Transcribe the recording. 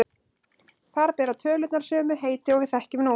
Þar bera tölurnar sömu heiti og við þekkjum nú.